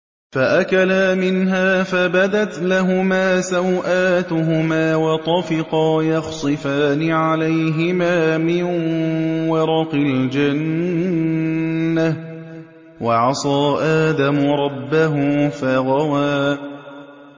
فَأَكَلَا مِنْهَا فَبَدَتْ لَهُمَا سَوْآتُهُمَا وَطَفِقَا يَخْصِفَانِ عَلَيْهِمَا مِن وَرَقِ الْجَنَّةِ ۚ وَعَصَىٰ آدَمُ رَبَّهُ فَغَوَىٰ